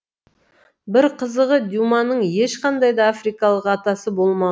бір қызығы дюманың ешқандай да африкалық атасы болма